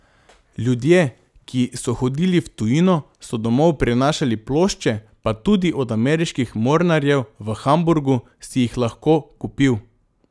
Ljudje, ki so hodili v tujino, so domov prinašali plošče, pa tudi od ameriških mornarjev v Hamburgu si jih lahko kupil.